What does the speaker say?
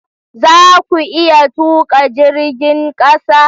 Za ku iya tuka jirgin kasa?